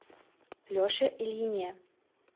леше ильине